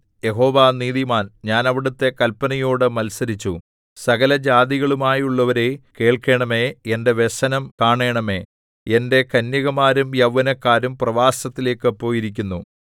യഹോവ നീതിമാൻ ഞാൻ അവിടുത്തെ കല്പനയോട് മത്സരിച്ചു സകല ജാതികളുമായുള്ളോരേ കേൾക്കേണമേ എന്റെ വ്യസനം കാണേണമേ എന്റെ കന്യകമാരും യൗവനക്കാരും പ്രവാസത്തിലേയ്ക്ക് പോയിരിക്കുന്നു